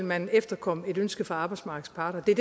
man efterkomme et ønske fra arbejdsmarkedets parter det er